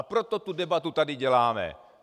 A proto tu debatu tady děláme.